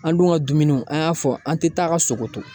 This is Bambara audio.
An dun ka dumuniw an y'a fɔ an te taa ka sogo to